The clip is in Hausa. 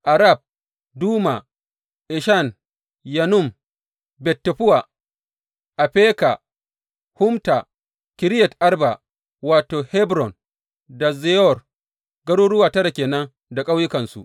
Arab, Duma, Eshan, Yanum, Bet Taffuwa, Afeka, Humta, Kiriyat Arba wato, Hebron da Ziyor, garuruwa tara ke nan da ƙauyukansu.